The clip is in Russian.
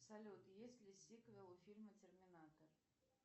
салют есть ли сиквел у фильма терминатор